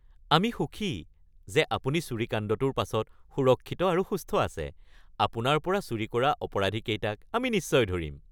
আমি সুখী যে আপুনি চুৰিকাণ্ডটোৰ পাছত সুৰক্ষিত আৰু সুস্থ আছে। আপোনাৰ পৰা চুৰি কৰা অপৰাধীকেইটাক আমি নিশ্চয় ধৰিম।(পুলিচ)